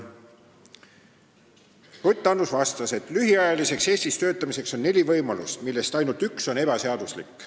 Ruth Annus vastas, et lühikest aega Eestis töötamiseks on neli võimalust, millest ainult üks on ebaseaduslik.